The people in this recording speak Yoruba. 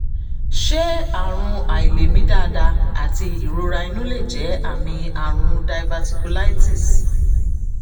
ṣé àrùn àìlèmí dáadáa àti ìrora inú lè jẹ́ àmì àrùn diverticulitis?